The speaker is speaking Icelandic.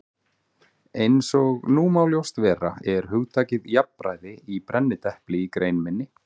Eins og nú má ljóst vera er hugtakið jafnræði í brennidepli í grein minni.